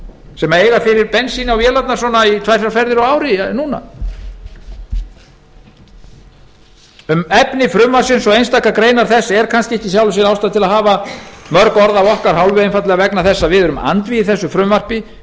sem eiga fyrir bensíni á vélarnar í tvær þrjár ferðir á ári ekki er ástæða til að hafa mörg orð af okkar hálfu um efni frumvarpsins og einstakar greinar þess einfaldlega vegna þess að við erum andvígir frumvarpinu